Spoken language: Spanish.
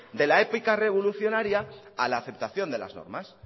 de la épica revolucionaria a la aceptación de las normas